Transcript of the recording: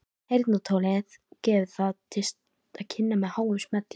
Heyrnartólið gefur það til kynna með háum smelli.